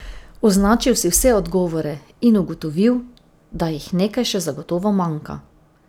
Označil si vse odgovore in ugotovil, da jih nekaj še zagotovo manjka!